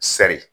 Sɛri